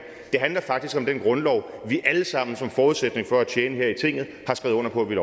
det handler faktisk om den grundlov vi alle sammen som forudsætning for at tjene her i tinget har skrevet under på vi